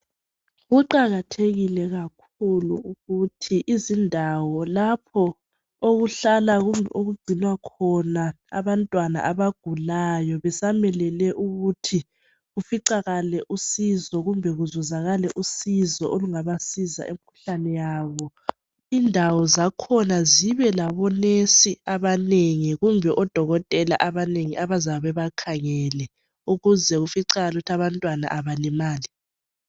kuqakathekile kakhulu ukuthi izindawo lapho okuhlala kugcinwa khona abantwana abagulayo besamelele ukuthi kuficakale usizo kumbe kuzuzakale usizo olungabasiza imkhuhlane yabo indawo zakhona zibe labonurse abanengi kumbe odokotela abanengi abayabe bebakhangele ukuze kuficakale ukuthi abantwana abalimali